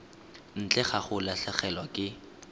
ntle ga go latlhegelwa ke